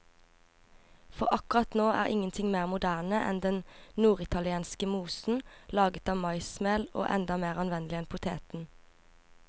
For akkurat nå er ingenting mer moderne enn denne norditalienske mosen, laget av maismel og enda mer anvendelig enn poteten.